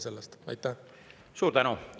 Suur tänu!